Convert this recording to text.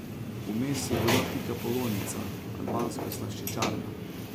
Vmes je bila Pikapolonica, albanska slaščičarna.